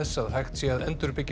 að hægt sé að endurbyggja